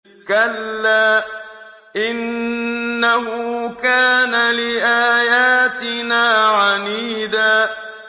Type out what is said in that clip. كَلَّا ۖ إِنَّهُ كَانَ لِآيَاتِنَا عَنِيدًا